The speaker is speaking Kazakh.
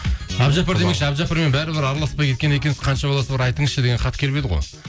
әбдіжаппар демекші әбдіжаппармен бәрібір араласпай кеткен екенсіз қанша баласы бар айтыңызшы деген хат келіп еді ғой